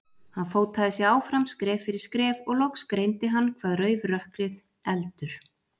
Hann fótaði sig áfram, skref fyrir skref, og loks greindi hann hvað rauf rökkrið, eldur.